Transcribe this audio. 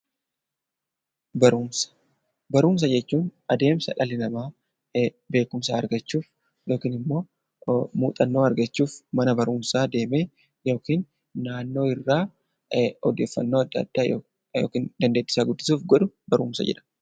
Barumsa jechuun adeemsa dhalli namaa beekumsa argachuuf muuxannoo argachuuf mana barumsaa deemee yookiin naannoo irraa odeeffannoo adda addaa dandeettii isaa guddisuuf godhu barumsa jedhama